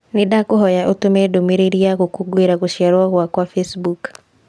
Nĩndakũhoya ũtũme ndũmĩrĩri ya gũkũngũĩra gũciarwo gwakwa facebook